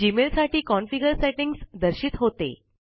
Gmail साठी configure settings दर्शित होते